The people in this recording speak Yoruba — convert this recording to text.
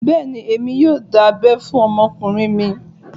Bẹ́ẹ̀ni, èmi yóò dá abẹ́ fún ọmọkùnrin mi